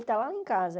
Ele está lá em casa.